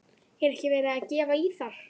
Er ekki verið að gefa í þar?